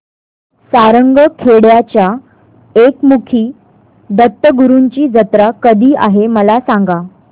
सारंगखेड्याच्या एकमुखी दत्तगुरूंची जत्रा कधी आहे मला सांगा